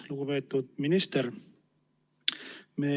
Lugupeetud minister!